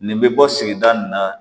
Nin bɛ bɔ sigida nin na